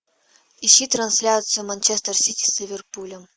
ищи трансляцию манчестер сити с ливерпулем